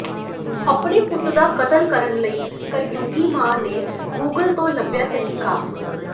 ਆਪਣੇ ਪੁੱਤ ਦਾ ਕਤਲ ਕਰਨ ਲਈ ਕਲਯੁੱਗੀ ਮਾਂ ਨੇ ਗੂਗਲ ਤੋਂ ਲੱਭਿਆ ਤਰੀਕਾ